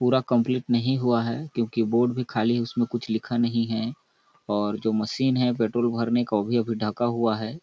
पूरा कम्प्लीट नहीं हुआ है क्योंकि बोर्ड भी खाली है उसमे कुछ लिखा नहीं है और जो मशीन है पेट्रोल भरने का वो भी अभी ढका हुआ है।